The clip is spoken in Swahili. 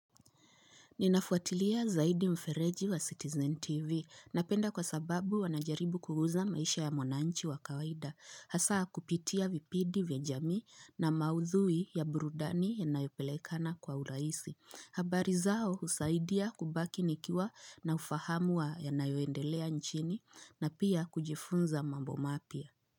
Ninafuatilia zaidi mfereji wa Citizen TV. Napenda kwa sababu wanajaribu kuguza maisha ya mwananchi wa kawaida. Hasa kupitia vipindi vya jamii na maudhui ya burudani yanayo pelekana kwa urahisi. Habari zao husaidia kubaki nikiwa na ufahamu wa yanayoendelea nchini na pia kujifunza mambo mapya.